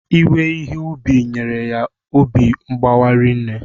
Iwe Ihe ubi nyere ya obi mgbawa rinne